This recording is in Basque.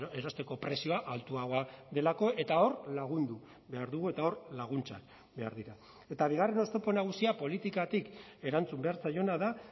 erosteko prezioa altuagoa delako eta hor lagundu behar dugu eta hor laguntzak behar dira eta bigarren oztopo nagusia politikatik erantzun behar zaiona da